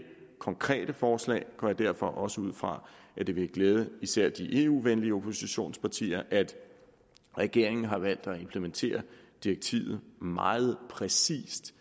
konkrete forslag går jeg derfor også ud fra at det vil glæde især de eu venlige oppositionspartier at regeringen har valgt at implementere direktivet meget præcist